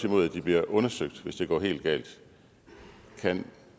imod at de bliver undersøgt hvis det går helt galt kan